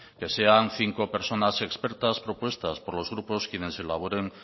que sean cinco personas expertas propuestas por los grupos quienes elaboren